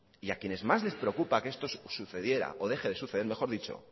y a quienes más les preocupa que esto sucediera o deje de suceder mejor dicho